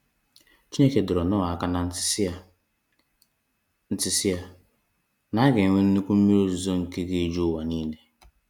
Chineke dọrọ Noah aka na ntị si ya, ntị si ya, na aga enwe nnukwu mmiri ozizo nke ga eju ụwa niile.